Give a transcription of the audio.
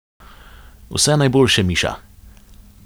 Vse najboljše, Miša.